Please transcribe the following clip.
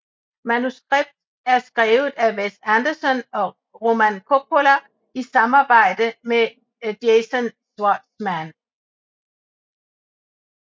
Manuskript er skrevet af Wes Anderson og Roman Coppola i samarbejde med Jason Schwartzman